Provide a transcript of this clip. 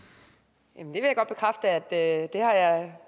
vil at det her er